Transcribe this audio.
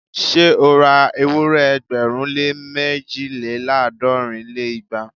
Ṣé ó ra ewúrẹ́ ẹgbẹ̀rún lé méjìléláàádọ́rin lé igba?